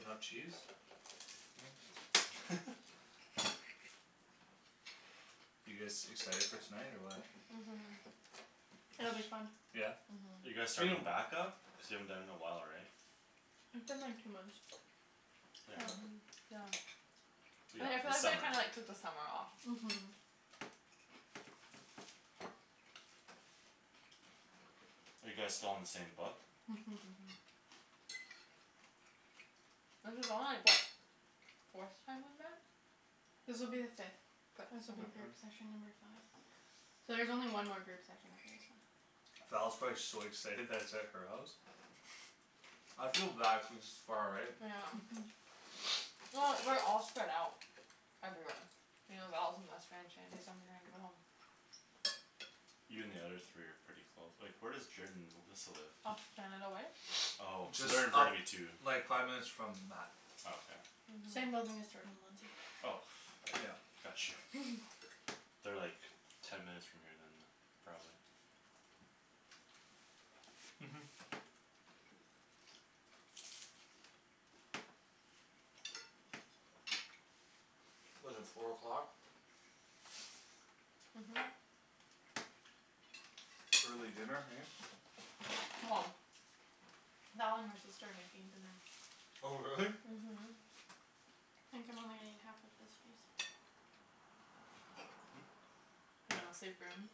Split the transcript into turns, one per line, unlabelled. enough cheese huh you guys excited for tonight or what
mhm
It'll be fun
yeah
are
uh-huh
you guys
its been a
starting back-up cuz you haven't done it in a while right
It's been like two months
yeah
hm
um yeah
yeah I
yeah
yeah feel
the
like I
summer
kinda like took the summer off
mhm
are you guys still on the same book
uh-huh
uh-huh this is only like what forth time we've met
This will be the fifth
fifth
this will be
uh-huh
group session number five so there's only one more group session after this one
Val's probably so excited that its at her house I feel bad cuz its far right
yeah um
uh-huh
well we're all spread out everywhere you know Val's in West Van Shandy's on Grant we're all
you and the other three are pretty close like where does Jorden and Alyssa live?
off Canada Way
oh so
just
they're in
up
Burnaby too
like five minutes from Mat
oh okay
same
uh-huh
building as Jordan and Lindsay
oh
yeah
got you they're like ten minutes from here than probably
uh-huh what's it four o'clock
uh-huh
uh-huh
early dinner hey
well Val and her sister are making dinner
oh really?
uh-huh
I think I'm only gonna eat half of this piece
hm
you know
yeah
save room